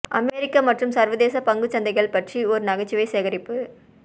அமெரிக்க மற்றும் சர்வதேச பங்கு சந்தைகள் பற்றி ஒரு நகைச்சுவை சேகரிப்பு